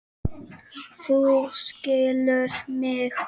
Þú skilur mig.